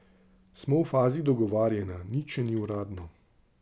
Smo v fazi dogovarjanja, nič še ni uradno.